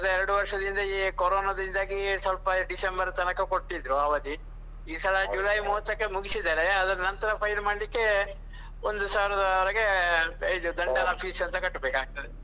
ಕಳೆದ ಎರಡು ವರ್ಷದಿಂದ ಈ ಕೊರೊನದಿಂದಾಗಿ ಸ್ವಲ್ಪ ಡಿಸೆಂಬರ್ ತನಕ ಕೊಟ್ಟಿದ್ರು ಅವಧಿ ಈ ಸಲ ಜುಲೈ ಮೂವತ್ತಕ್ಕೆ ಮುಗಿಸಿದ್ದಾರೆ. ಅದ್ರ ನಂತರ file ಮಾಡ್ಲಿಕ್ಕೆ ಒಂದು ಸಾವಿರದವರೆಗೆ ಇದು ದಂಡ fees ಅಂತ ಕಟ್ಟಬೇಕಾಗ್ತದೆ.